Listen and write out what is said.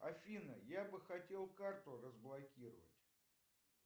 афина я бы хотел карту разблокировать